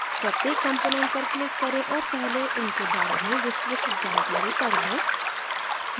प्रत्येक component पर click करें और पहले उनके बारे में विस्तृत जानकारी पढ लें